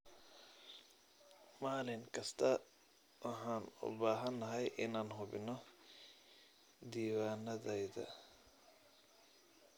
Maalin kasta waxaan u baahanahay inaan hubino diiwaanadayada.